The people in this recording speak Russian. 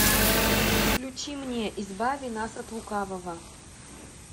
включи мне избави нас от лукавого